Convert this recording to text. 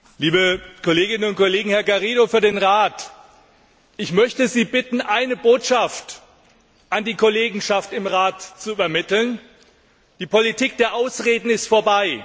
Herr Präsident, liebe Kolleginnen und Kollegen, Herr López Garrido für den Rat! Ich möchte Sie bitten, eine Botschaft an die Kollegenschaft im Rat zu übermitteln Die Politik der Ausreden ist vorbei.